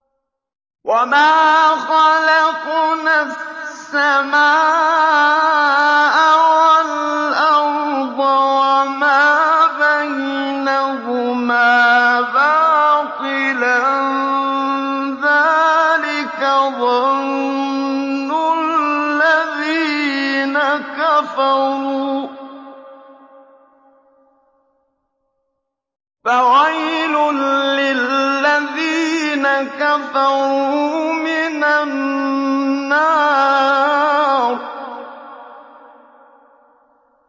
وَمَا خَلَقْنَا السَّمَاءَ وَالْأَرْضَ وَمَا بَيْنَهُمَا بَاطِلًا ۚ ذَٰلِكَ ظَنُّ الَّذِينَ كَفَرُوا ۚ فَوَيْلٌ لِّلَّذِينَ كَفَرُوا مِنَ النَّارِ